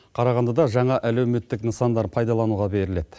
қарағандыда жаңа әлеуметтік нысандар пайдалануға беріледі